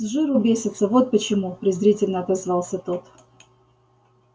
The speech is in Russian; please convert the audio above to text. с жиру бесятся вот почему презрительно отозвался тот